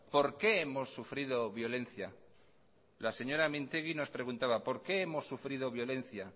por qué hemos sufrido violencia la señora mintegi nos preguntaba por qué hemos sufrido violencia